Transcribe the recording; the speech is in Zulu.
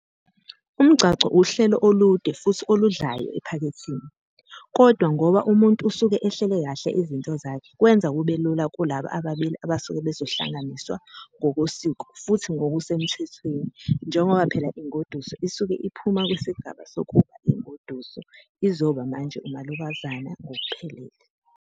Umgcagco uhlelo olude futhi oludlayo ephaketheni, kodwa ngoba umuntu usuke uhlele kahle izinto zakhe kwenza kube lula kulaba ababili abasuke bezohlanganiswa ngokosiko futhi ngokusemthethweni njengoba phela ingoduso isuke iphuma kwisigaba sokuba ingoduso izoba manje umalokazane ngokuphelele.